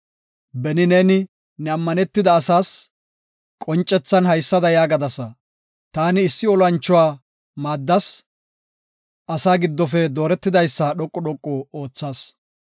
Beni neeni, ne ammanetida asaas qoncethan haysada yaagadasa. “Taani issi olanchuwa maaddas; asaa giddofe dooretidaysa dhoqu dhoqu oothas.